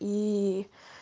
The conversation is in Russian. и